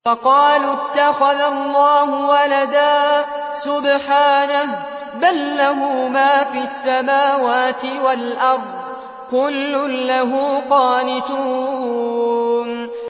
وَقَالُوا اتَّخَذَ اللَّهُ وَلَدًا ۗ سُبْحَانَهُ ۖ بَل لَّهُ مَا فِي السَّمَاوَاتِ وَالْأَرْضِ ۖ كُلٌّ لَّهُ قَانِتُونَ